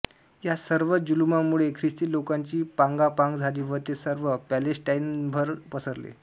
या सर्व जुलूमामुळे ख्रिस्ती लोकांची पांगापांग झाली व ते सर्व पालेस्टाइनभर पसरले